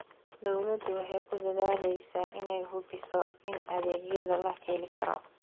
Dawladdu waxay ku dadaalaysaa inay hubiso in adeegyada la heli karo.